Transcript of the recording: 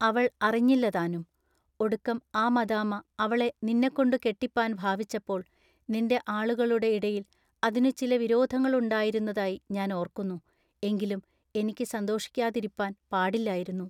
അവൾ അറിഞ്ഞില്ല താനും. ഒടുക്കം ആ മദാമ്മ അവളെ നിന്നെക്കൊണ്ടു കെട്ടിപ്പാൻ ഭാവിച്ചപ്പോൾ നിന്റെ ആളുകളുടെ ഇടയിൽ അതിനു ചില വിരോധങ്ങളുണ്ടായിരുന്നതായി ഞാൻ ഓർക്കുന്നു എങ്കിലും എനിക്ക് സന്തോഷിക്കാതിരിപ്പാൻ പാടില്ലായിരുന്നു.